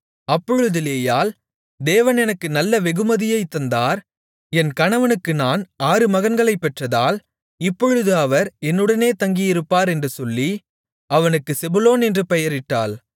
அப்பொழுது லேயாள் தேவன் எனக்கு நல்ல வெகுமதியைத் தந்தார் என் கணவனுக்கு நான் ஆறு மகன்களைப் பெற்றதால் இப்பொழுது அவர் என்னுடனே தங்கியிருப்பார் என்று சொல்லி அவனுக்குச் செபுலோன் என்று பெயரிட்டாள்